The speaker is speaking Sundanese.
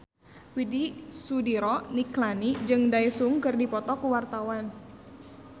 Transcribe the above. Widy Soediro Nichlany jeung Daesung keur dipoto ku wartawan